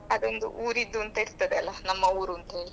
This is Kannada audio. ಅದು ಒಂದು ಊರಿದ್ದು ಅಂತ ಇರುತ್ತದೆ ಅಲ್ಲಾ ನಮ್ಮ ಊರು ಅಂತ ಹೇಳಿ.